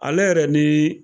Ale yɛrɛ ni